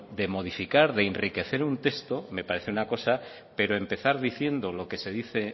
de modificar de enriquecer un texto me parece una cosa pero empezar diciendo lo que se dice